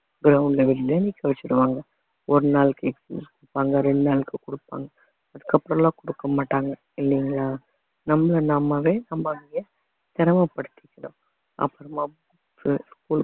ground ல வெளிலயே நிக்க வச்சிடுவாங்க ஒரு நாளைக்கு excuse கொடுப்பாங்க ரெண்டு நாளைக்கு கொடுப்பாங்க அதுக்கப்புறம் எல்லாம் கொடுக்க மாட்டாங்க இல்லைங்களா நம்மள நம்மவே சிரமபடுத்திக்கிறோம் அப்புறமா books உ school